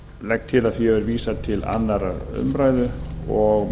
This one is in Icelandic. legg til að því verði vísað til annarrar umræðu og